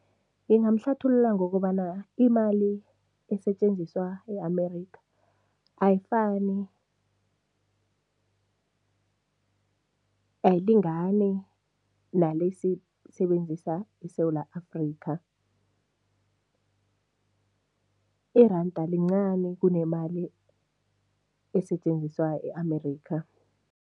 Ngingamhlathulula ngokobana imali esetjenziswa e-America ayifani, ayilingani nale siyisebenzisa eSewula Afrika, iranda lincani kunemali esetjenziswa e-America.